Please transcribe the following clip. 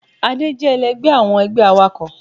Adé jé èlẹgbẹ́ awọn ẹgbẹ́ àwákọ